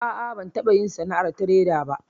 A a, ban taɓa yin sana'ar tireda ba